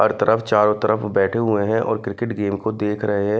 हर तरफ चारों तरफ बैठे हुए हैं और क्रिकेट गेम को देख रहे हैं।